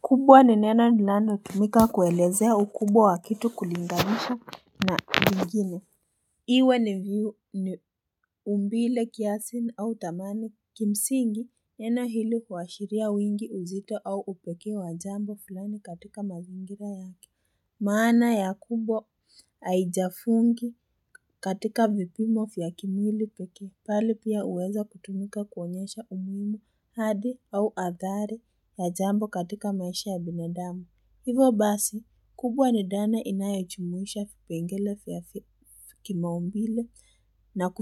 Kubwa ni neno linalotumika kuelezea ukubwa wa kitu kulinganisha na kingine iwe ni umbile kiasi au thamani Kimsingi neno hili huashiria wingi uzito au upekee wa jambo fulani katika mazingira yake maana ya kubwa haijafungwa katika vipimo vya kimwili pekee bali pia huweza kutumika kuonyesha umuhimu hadhi au adhari ya jambo katika maisha ya binadamu. Hivyo basi, kubwa ni dhana inayojumuisha vipengele vya kimaumbile na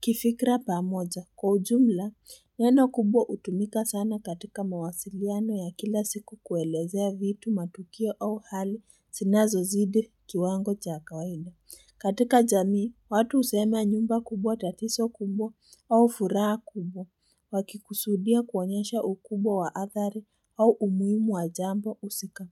kifikra pamoja. Kwa ujumla, neno kubwa hutumika sana katika mawasiliano ya kila siku kuelezea vitu matukio au hali szinazozidi kiwango cha kawaida. Katika jamii, watu husema nyumba kubwa tatizo kubwa au furaha kubwa, wakikusudia kuonyesha ukubwa wa athari au umuhimu wa jambo husika.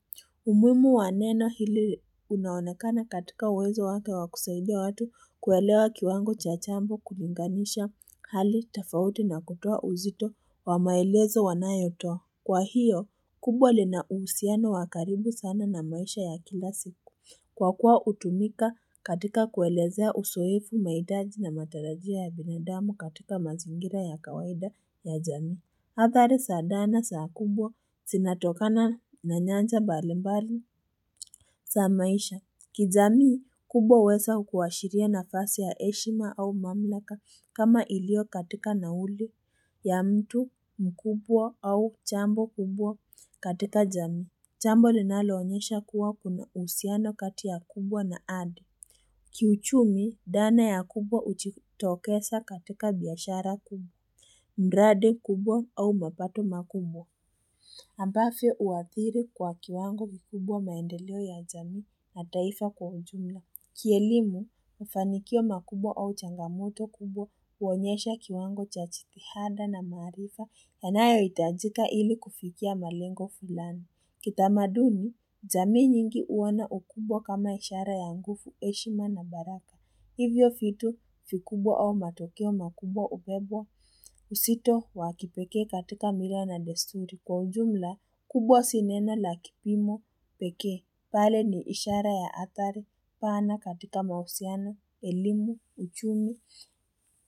Umuhimu wa neno hili unaonakana katika uwezo wake wa kusaidia watu kuelewa kiwango cha jambo kulinganisha hali tofauti na kutoa uzito wa maelezo wanayotoa. Kwa hiyo, kubwa lina uhusiano wa karibu sana na maisha ya kila siku. Kwa kuwa hutumika katika kuelezea uzoefu mahitaji na matarajia ya binadamu katika mazingira ya kawaida ya jamii. Athari za dhana za kubwa zinatokana na nyanja mbalimbali za maisha. Kijamii kubwa huweza kuashiria nafasi ya heshima au mamlaka kama iliyo katika nauli ya mtu mkubwa au jambo kubwa katika jamii. Jambo linaloonyesha kuwa kuna uhusiano kati ya kubwa na hadhi. Kiuchumi dhana ya kubwa hujitokesa katika biashara kubwa. Mradi kubwa au mapato makubwa. Ambavyo huathiri kwa kiwango kikubwa maendeleo ya jamii na taifa kwa ujumla Kielimu mafanikio makubwa au changamoto kubwa huonyesha kiwango cha jitihada na maarifa yanayohitajika ili kufikia malengo fulani Kitamaduni jamii nyingi huwa na ukubwa kama ishara ya nguvu heshima na baraka Hivyo vitu vikubwa au matokeo makubwa hubebwa uzito wa kipekee katika mila na desturi. Kwa ujumla, kubwa si neno la kipimo pekee. Bali ni ishara ya athari pana katika mahusiano, elimu, uchumi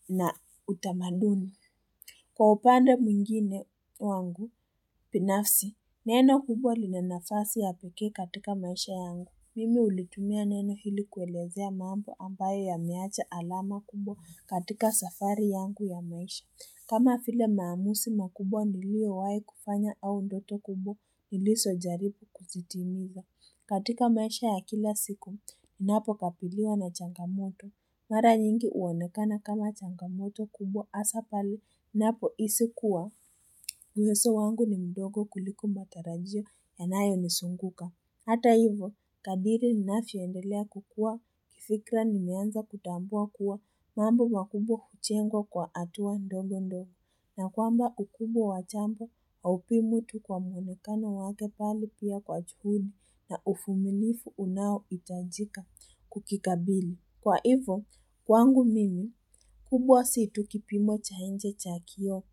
na utamaduni. Kwa upanda mwingine wangu, binafsi, neno kubwa lina nafasi ya pekee katika maisha yangu. Mimi hulitumia neno hili kuelezea maambo ambayo yameacha alama kubwa katika safari yangu ya maisha. Kama vile maamuzi makubwa niliyowahi kufanya au ndoto kubwa, nilizojaribu kutimiza. Katika maisha ya kila siku, ninapokabiliwa na changamoto. Mara nyingi huonekana kama changamoto kubwa hasaa pale ninapohisi kuwa, uwezo wangu ni mdogo kuliko matarajio yanayonizunguka. Hata hivo, kadiri ninavyoendelea kukua, kifikra nimeanza kutambua kuwa, mambo makubwa hujengwa kwa hatua ndogo ndogo. Na kwamba ukubwa wa jambo, haupimwi tu kwa muonekano wake bali pia kwa juhudi na uvumilivu unaohitajika kukikabili. Kwa hivyo, kwangu mimi, kubwa si tu kipimo cha nje cha kioo,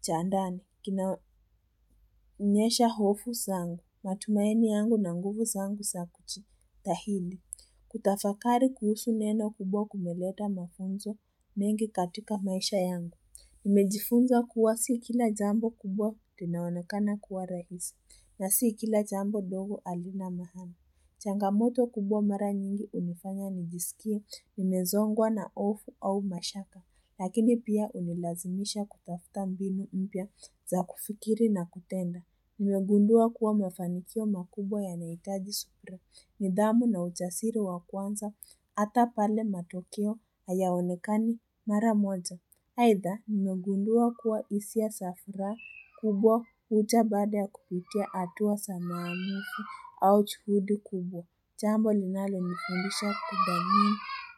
cha ndaia, kinaonyesha hofu zangu, matumaini yangu na nguvu zangu za kujitahidi. Kutafakari kuhusu neno kubwa kumeleta mafunzo mengi katika maisha yangu. Nimejifunza kuwa sikila jambo kubwa tena linaonekana kuwa rahisi, na si kila jambo dogo halina maana. Changamoto kubwa mara nyingi hunifanya nijisikie, nimezongwa na hofu au mashaka, lakini pia hunilazimisha kutafuta mbinu mpya za kufikiri na kutenda. Nimegundua kuwa mafanikio makubwa yanahitaji subira, nidhamu na ujasiri wa kwanza, hata pale matokeo hayaonekani mara moja. Aidha, nimegundua kuwa hisia za furaha kubwa huja baada ya kupitia hatua za maamuzi au juhudi kubwa. Jambo linalonifundisha kudhamini.